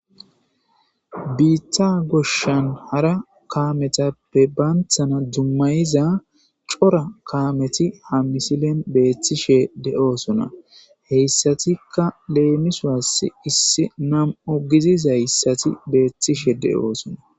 Biitha goshshan hara kaametappe baanthana dummayiza cora kaameti ha misilen beethtishe de7oosona heyssatikka leemiswass issi nam7o gizizayssati beethtishe de7oosona.